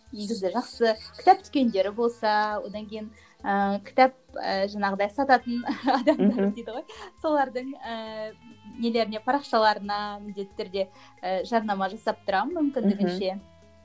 негізі жақсы кітап дүкендері болса одан кейін ііі кітап і жаңағыдай сататын адамдар дейді ғой солардың ііі нелеріне парақшаларына міндетті түрде і жарнама жасап тұрамын мүмкіндігінше